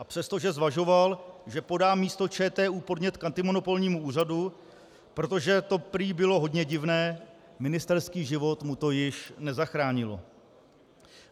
A přestože zvažoval, že podá místo ČTÚ podnět k antimonopolnímu úřadu, protože to prý bylo hodně divné, ministerský život mu to již nezachránilo.